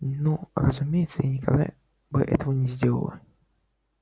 ну разумеется я никогда бы этого не сделала